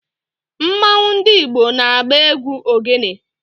Mmanwu ndi Igbo na-agba egwu ogene